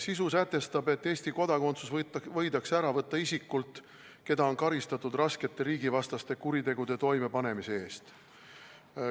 Sisu sätestab, et Eesti kodakondsus võidakse ära võtta isikult, keda on karistatud raskete riigivastaste kuritegude toimepanemise eest.